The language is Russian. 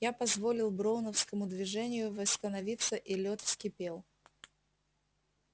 я позволил броуновскому движению восстановиться и лёд вскипел